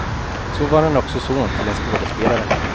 Så var han också son till en skådespelare.